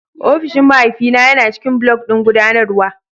Ofishin mahaifina yana ciƙin block ɗin guɗanarwa